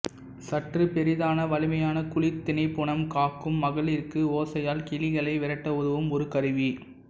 சற்று பெரிதான வலிமையான குளிர் தினைப்புனம் காக்கும் மகளிர்க்கு ஓசையால் கிளிகளை விரட்ட உதவும் ஒரு கருவி